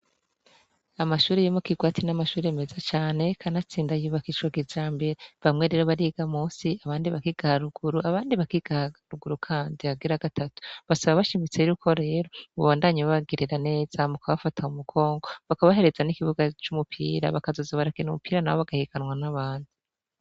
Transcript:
Amashuri yimo kirwati n'amashuri meza cane kanatsinda yiubakicwa gizambere bamwe rero bariga musi abandi bakigaruguru abandi bakigarugurukandi hagira gatatu basaba bashimitse yri uko rero bubandanyi babagerera neza mu kabafata mu mugongo bakabahereza n'ikibuga c'umupira bakazoza barakena umupira na bo bagahikanwa n'abantu.